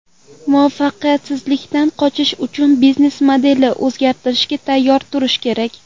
Muvaffaqiyatsizlikdan qochish uchun biznes-modelni o‘zgartirishga tayyor turish kerak.